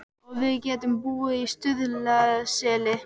Og við getum búið í Stuðlaseli.